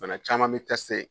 Bana caman be tɛsite